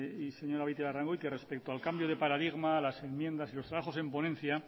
señora beitialarrangoitia respecto al cambio de paradigma las enmiendas y los trabajos en ponencia